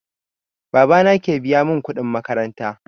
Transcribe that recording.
Baba na ke biya mun kuɗin makaranta